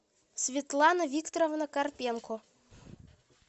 светлана викторовна карпенко